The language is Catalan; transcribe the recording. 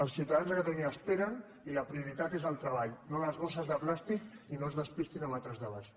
els ciutadans de catalunya esperen i la prioritat és el treball no les bosses de plàstic i no es despistin amb altres debats